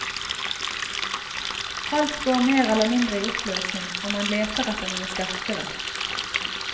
Alt går mer eller mindre i oppløsning, og man leter etter noe sterkere.